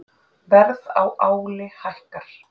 Verð á áli hækkar